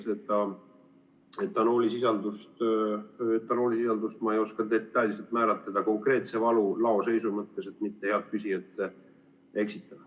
Seda etanoolisisaldust ma ei oska detailselt määratleda konkreetse varu laoseisu mõttes, et mitte head küsijat eksitada.